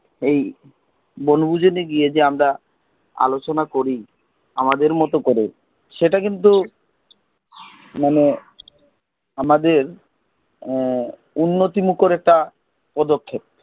এই বনভোজনে গিয়ে যে আমরা আলোচনা করি আমাদের মত করে সেটা কিন্তু মানে আমাদের উন্নতি মুখের একটা পদক্ষেপ